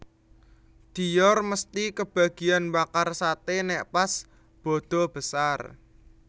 Dior mesti kebagian mbakar sate nek pas badha besar